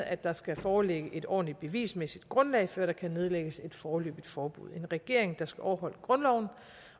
at der skal foreligge et ordentligt bevismæssigt grundlag før der kan nedlægges et foreløbigt forbud en regering der skal overholde grundloven